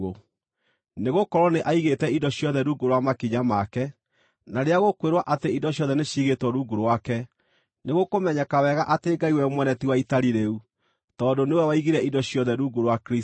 Nĩgũkorwo “nĩ aigĩte indo ciothe rungu rwa makinya make.” Na rĩrĩa gũkwĩrwo atĩ “indo ciothe” nĩciigĩtwo rungu rwake, nĩgũkũmenyeka wega atĩ Ngai we mwene ti wa itari rĩu tondũ nĩ we waigire indo ciothe rungu rwa Kristũ.